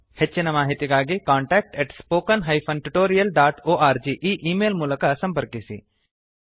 ಹೆಚ್ಚಿನ ಮಾಹಿತಿಗಾಗಿ contact spoken tutorialorg ಈ ಈ ಮೇಲ್ ಮೂಲಕ ಸಂಪರ್ಕಿಸಿ